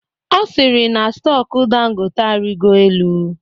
Ọ sịrị na stọku Dangote arịgo elu